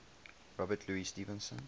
robert louis stevenson